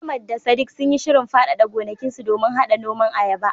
Ahmad da Sadiq sun yi shirin faɗaɗa gonakinsu domin haɗa noman ayaba.